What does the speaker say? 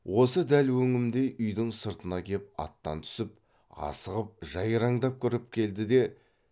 осы дәл өңімдей үйдің сыртына кеп аттан түсіп асығып жайраңдап кіріп келді де